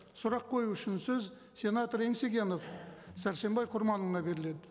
сұрақ қою үшін сөз сенатор еңсегенов сәрсенбай құрманұлына беріледі